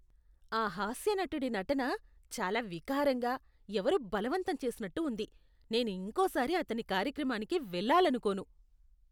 ఆ హాస్యనటుడి నటన చాలా వికారంగా, ఎవరో బలవంతం చేసినట్టు ఉంది, నేను ఇంకోసారి అతని కార్యక్రమానికి వెళ్ళాలనుకోను.